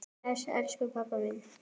Bless, elsku pabbi minn.